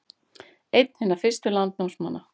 Einn hinna fyrstu landnámsmanna